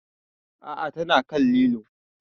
A'a ta na kan lilo